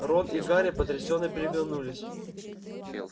рон и гарри потрясённо переглянулись